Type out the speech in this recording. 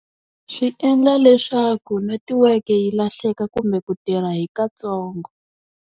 Swi endla leswaku netiweke yi lahleka kumbe ku tirha hi katsongo.